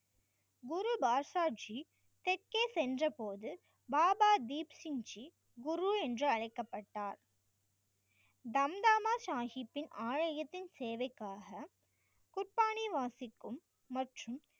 குரு பாட்ஷா ஜி தெற்கே சென்றபோது பாபா தீப் சிங் ஜி குரு என்று அழைக்கப்பட்டார் தம் தாம்மா ஷாகிப்பின் ஆலயத்தின் சேவைக்காக குர்பானி வாசிக்கும் மற்றும்,